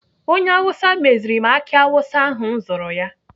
Onye Awụsa meziri m aki awụsa ahụ m zụrụ ya.